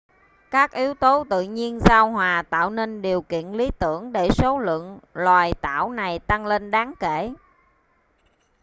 các yếu tố tự nhiên giao hòa tạo nên điều kiện lý tưởng để số lượng loài tảo này tăng lên đáng kể